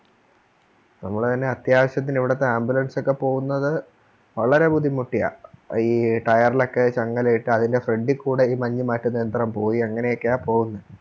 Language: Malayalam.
ഞങ്ങള് പിന്നെ അത്യാവശ്യത്തിന് ഇവിടുത്തെ Ambulance ഒക്കെ പോകുന്നത് വളരെ ബുദ്ധിമുട്ടിയ എ ഈ Tyre ലോക്കെ ചങ്ങല ഇട്ട് അതിൻറെ Front കൂടെ ഈ മഞ്ഞ് മാറ്റുന്ന യന്ത്രം പോയി അങ്ങനെയൊക്കെയാ പോകുന്നെ